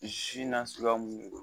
Zi na suguya mun don